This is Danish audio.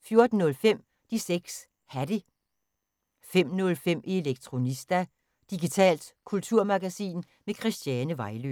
14:05: De 6 Hatte 15:05: Elektronista – digitalt kulturmagasin med Christiane Vejlø